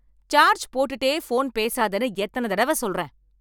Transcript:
Charge போட்டுட்டே phone பேசாதேன்னு எத்தன தடவ சொல்றேன்.